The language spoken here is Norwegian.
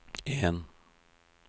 en